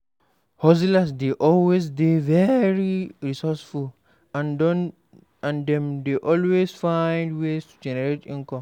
Hustlers dey always dey very resourceful and dem dey always find ways to generate income